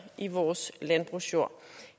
i vores landbrugsjord